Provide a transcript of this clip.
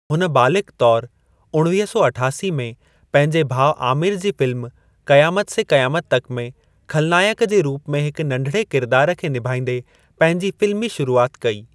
हुन बालिग़ु तौरु उणवीह सौ अठासी में पंहिंजे भाउ आमिर जी फ़िल्म क़यामत से क़यामत तक में ख़लनायक जे रूप में हिकु नंढिड़े किरिदार खे निभाईंदे पंहिंजी फ़िल्मी शुरूआत कई।